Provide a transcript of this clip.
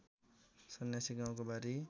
सन्यासी गाउको बारी